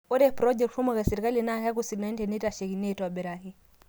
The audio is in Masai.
Ore projects kumok esirkali naa keeku sidai teneitashekini aitobiraki.